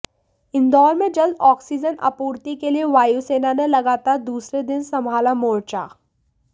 इंदौर में जल्द ऑक्सीजन आपूर्ति के लिए वायुसेना ने लगातार दूसरे दिन संभाला मोर्चा